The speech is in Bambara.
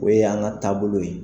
O y'an ka taabolo ye.